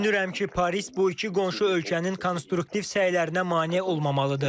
Düşünürəm ki, Paris bu iki qonşu ölkənin konstruktiv səylərinə mane olmamalıdır.